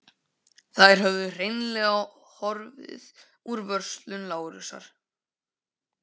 Þær höfðu hreinlega horfið úr vörslu Lárusar.